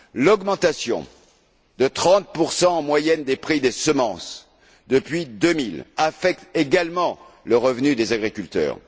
L'augmentation de 30 en moyenne des prix des semences depuis 2000 affecte également le revenu des agriculteurs.